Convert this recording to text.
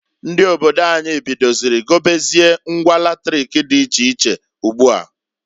Ndi obodo anyi bidoziri gobezie ngwa latrik di iche iche ugboa.